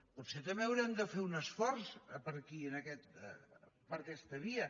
potser també haurem de fer un esforç per aquí per aquesta via